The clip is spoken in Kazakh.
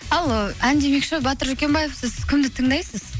ал ән демекші батыр жүкембаев сіз кімді тыңдайсыз